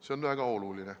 See on väga oluline.